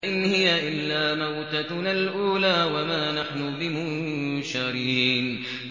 إِنْ هِيَ إِلَّا مَوْتَتُنَا الْأُولَىٰ وَمَا نَحْنُ بِمُنشَرِينَ